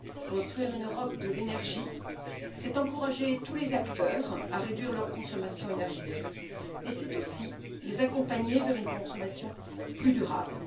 Construire une Europe de l'énergie, c'est encourager tous les acteurs à réduire leur consommation énergétique, mais c'est aussi les accompagner vers une consommation plus durable.